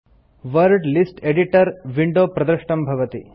word list editor window प्रदृष्टं भवति